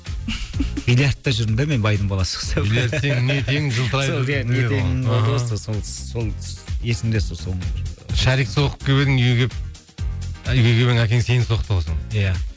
биллиардта жүрдім де мен байдың баласы құсап сол сол есімде сол шарик соғып келіп едің үйге келіп үйге келіп едің әкең сені соқты ғой сол иә